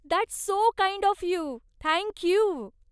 That's so kind of you, thank you.